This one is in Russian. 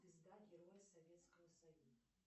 звезда героя советского союза